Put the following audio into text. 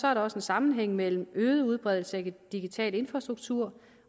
er der også en sammenhæng mellem øget udbredelse af digital infrastruktur